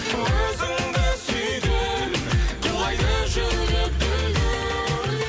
өзіңді сүйген құлайды жүрек дүл дүл